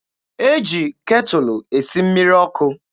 E ji ketụlụ esi mmiri ọkụ.